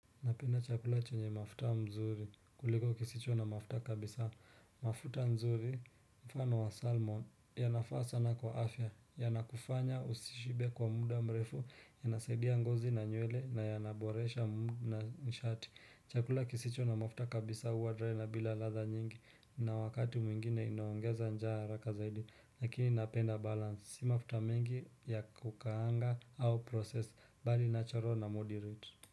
Napenda chakula chenye mafuta nzuri, kuliko kisicho na mafuta kabisa, mafuta nzuri mfano wa salmon, yanafaa sana kwa afya, yanakufanya usishibe kwa muda mrefu, ya nasaidia ngozi na nywele, na yanaboresha mwili na nishati. Chakula kisicho na mafuta kabisa huwa dry na bila ladha nyingi, na wakati mwingine inaongeza njaa haraka zaidi, lakini napenda balance, si mafuta mingi ya kukaanga au processed, bali natural na moderate.